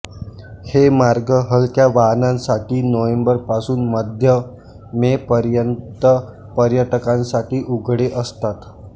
हे मार्ग हलक्या वाहनांसाठी नोव्हेंबर पासुन मध्य मे पर्यंत पर्यटकांसाठी उघडे असतात